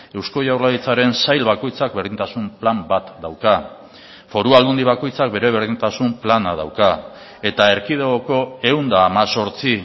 eusko jaurlaritzaren sail bakoitzak berdintasun plan bat dauka foru aldundi bakoitzak bere berdintasun plana dauka eta erkidegoko ehun eta hemezortzi